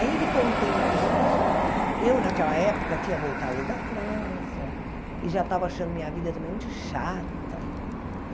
Aí, ele contando tudo isso, eu, naquela época, tinha voltado da França e já estava achando minha vida também muito chata.